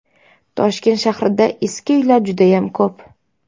Toshkent shahrida eski uylar judayam ko‘p.